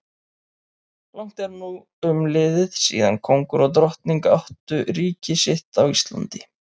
Langt er nú umliðið síðan kóngur og drottning áttu ríki sitt á Íslandi.